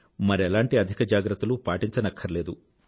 మరెలాంటి అధిక జాగ్రత్తలూ పాటించనక్కర్లేదు